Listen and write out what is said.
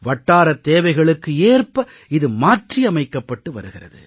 வட்டாரத் தேவைகளுக்கு ஏற்ப இது மாற்றியமைக்கப்பட்டு வருகிறது